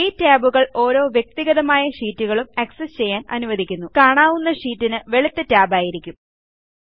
ഈ ടാബുകൾ ഓരോ വ്യക്തിഗതമായ ഷീറ്റുകളും ആക്സസ്സ് ചെയ്യാൻ അനുവദിക്കുന്നു കാണാവുന്ന ഷീറ്റിന് വെളുത്ത ടാബായിരിക്കും ഉണ്ടാവുക